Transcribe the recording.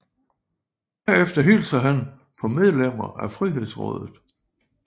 Herefter hilser han på medlemmer af Frihedsrådet